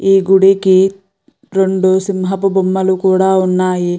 ఈ గుడికి రెండు సింహాపు బొమ్మలు కూడా ఉన్నాయి.